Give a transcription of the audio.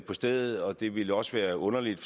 på stedet og det ville også være underligt